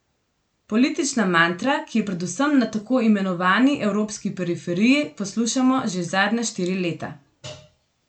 Politična mantra, ki jo predvsem na tako imenovani evropski periferiji poslušamo že zadnja štiri leta.